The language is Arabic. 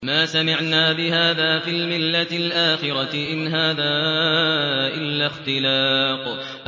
مَا سَمِعْنَا بِهَٰذَا فِي الْمِلَّةِ الْآخِرَةِ إِنْ هَٰذَا إِلَّا اخْتِلَاقٌ